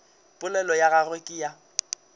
polelo ya gagwe ke ya